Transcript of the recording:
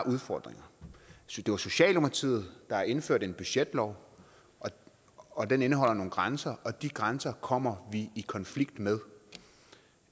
udfordringer det var socialdemokratiet der indførte budgetloven og den indeholder nogle grænser og de grænser kommer vi i konflikt med